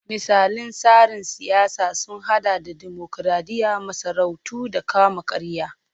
Misalan tsarin siyasa sun hada da dimokuradiyya, masarautu da kama-karya.